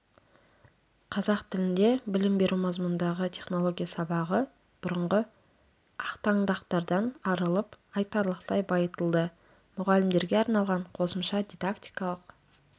қазақ тілінде білім беру мазмұнындағы технология сабағы бұрынғы ақтаңдақтардан арылып айтарлықтай байытылды мұғалімдерге арналған қосымша дидактикалық